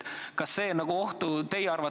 Kas see teie arvates ohtu ei kujuta?